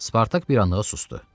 Spartak bir anlığa susdu.